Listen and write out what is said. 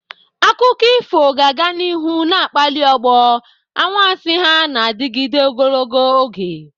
Akụkọ ifo ga-aga n'ihu na-akpali ọgbọ, anwansi ha na-adịgide ogologo oge.